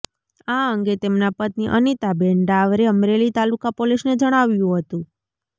આ અંગે તેમના પત્ની અનિતાબેન ડાવરે અમરેલી તાલુકા પોલીસને જણાવ્યું હતું